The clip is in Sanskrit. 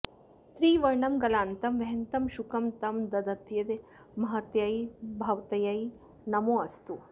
त्रिवर्णं गलान्तं वहन्तं शुकं तं दधत्यै महत्यै भवत्यै नमोऽस्तु